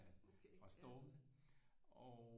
Fra stormene og